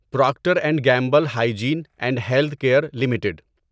Procter and Gamble hygiene and health care limited